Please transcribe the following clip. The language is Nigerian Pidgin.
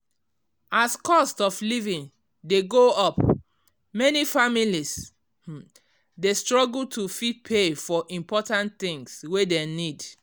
as cost of living dey go up many families um dey struggle to fit pay for important things wey dem need.